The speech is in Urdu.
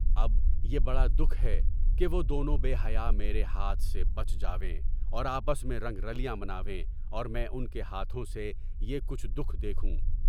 اب یہ بڑا دُکھ ہے کہ وہ دونوں بے حیاء میرے ہاتھ سے پنجے چھوٹ جائیں اور آپس میں رنگ رلیاں منائیں اور میں ان کے ہاتھوں سے بہت کچھ نقصان دیکھوں۔